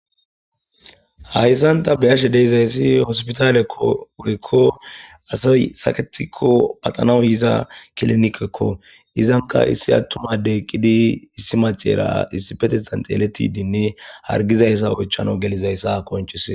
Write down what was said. Haysan ta beyashe dizaysi hospitaleko woyko asay hargikon paxana yiza kilinikeko izanka issi addey eqidi issi macayra issippetethan xeletidinne hargizaysa oychanas gelizaysa qonc'isses.